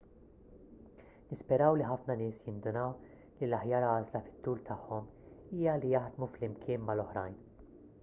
nisperaw li ħafna nies jindunaw li l-aħjar għażla fit-tul tagħhom hija li jaħdmu flimkien mal-oħrajn